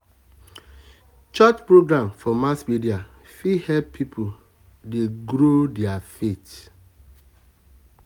church program for mass media fit help um people um dey grow their faith